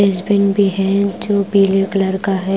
Dustbin भी है जो पीले कलर का है।